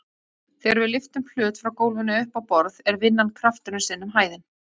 Þegar við lyftum hlut frá gólfinu upp á borð er vinnan krafturinn sinnum hæðin.